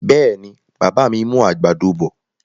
Bẹ́ẹ̀ni, bàbá mi mú àgbàdo bọ̀.